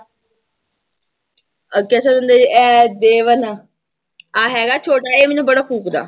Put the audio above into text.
ਦੇਵਨ ਆਹ ਹੈਗਾ ਛੋਟਾ ਇਹ ਮੈਨੂੰ ਬੜਾ ਫੂਕਦਾ।